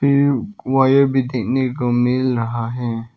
Wire भी देखने को मिल रहा है।